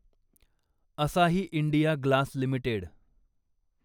असाही India glass limited